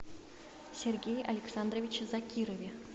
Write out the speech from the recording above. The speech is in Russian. сергее александровиче закирове